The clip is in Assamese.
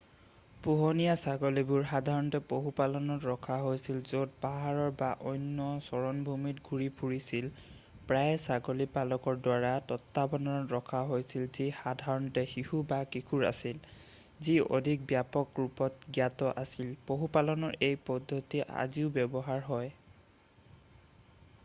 পোহনীয়া ছাগলীবোৰ সাধাৰণতে পশুপালত ৰখা হৈছিল য'ত পাহাৰৰ বা অন্য চাৰণভূমিত ঘূৰি ফুৰিছিল প্ৰায়েই ছাগলী পালকৰ দ্বাৰা তত্ত্বাৱধানত ৰখা হৈছিল যি সাধাৰণতে শিশু বা কিশোৰ আছিল যি অধিক ব্যাপক ৰূপত জ্ঞাত আছিল পশুপালনৰ এই পদ্ধতি আজিও ব্যৱহাৰ হয়